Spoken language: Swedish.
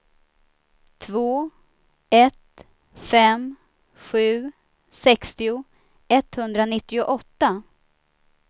två ett fem sju sextio etthundranittioåtta